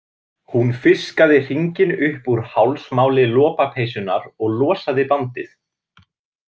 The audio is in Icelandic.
Hún fiskaði hringinn upp úr hálsmáli lopapeysunnar og losaði bandið.